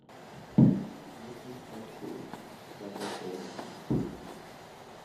водный патруль пятая серия